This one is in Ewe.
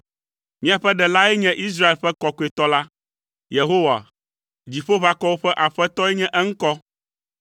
Miaƒe Ɖelae nye Israel ƒe Kɔkɔetɔ la. Yehowa, Dziƒoʋakɔwo ƒe Aƒetɔe nye eŋkɔ.